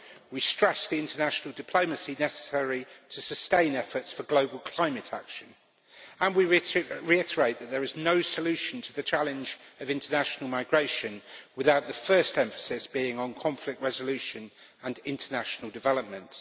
We stress the international diplomacy necessary to sustain efforts for global climate action, and we reiterate that there is no solution to the challenge of international migration without the first emphasis being on conflict resolution and international development.